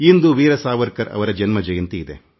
ಇಂದು ವೀರ ಸಾವರ್ಕರ್ ಅವರ ಜಯಂತಿ